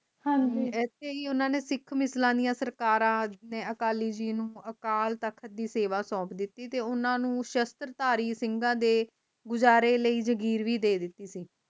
ਹਾਂਜੀ ਇਸਲਯੀ ਓਹਨਾ ਨੇ ਸਿੱਖ ਮਿਸਲਾਣੀਆਂ ਸਰਕਾਰਾਂ ਜਿੰਨੇ ਅਕਾਲੀ ਜੀ ਨੂੰ ਅਕਾਲ ਤਖ਼ਤ ਦੀ ਸੇਵਾ ਸੋਹਪ ਦਿਤੀ ਤੇ ਓਹਨਾ ਨੂੰ ਸ਼ਸ਼ਤਰ ਧਾਰੀ ਸਿੰਘਾਂ ਦੇ ਗੁਜਰੇ ਲਯੀ ਜਾਗੀਰ ਵੀ ਦੇ ਦਿਤੀ ਸੀ